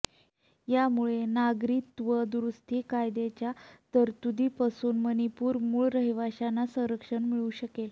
यामुळे नागरिकत्व दुरुस्ती कायद्याच्या तरतुदींपासून मणिपूरच्या मूळ रहिवाशांना संरक्षण मिळू शकेल